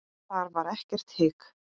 Þar var ekkert hik.